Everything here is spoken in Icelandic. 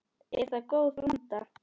Er það góð blanda.